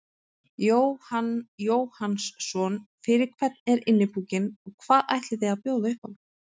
Jóhann Jóhannsson: Fyrir hvern er Innipúkinn og hvað ætlið þið að bjóða upp á?